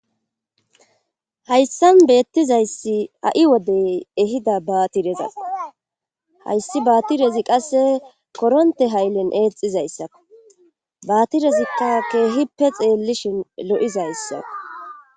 Hayssan beettizayssi ha'i wodey ehidda baatirezas hayssi baatirezi qasse koronte hayllen eexizayssako baatirezikka keehippe xeellishin lo'izayssako